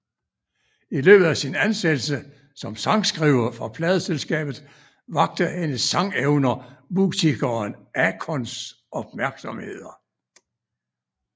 I løbet af sin ansættelse som sangskriver for pladeselskabet vakte hendes sangevner musikeren Akons opmærksomhed